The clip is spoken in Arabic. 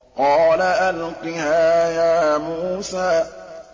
قَالَ أَلْقِهَا يَا مُوسَىٰ